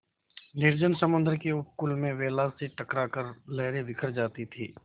निर्जन समुद्र के उपकूल में वेला से टकरा कर लहरें बिखर जाती थीं